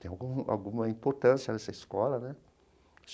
tem alguma alguma importância nessa escola, né?